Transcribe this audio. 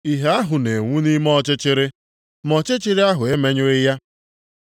ìhè ahụ na-enwu nʼime ọchịchịrị, ma ọchịchịrị ahụ emenyụghị ya.